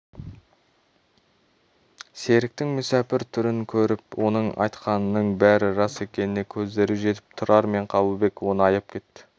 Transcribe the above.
серіктің мүсәпір түрін көріп оның айтқанының бәрі рас екеніне көздері жетіп тұрар мен қабылбек оны аяп кетті